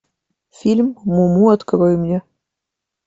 фильм муму открой мне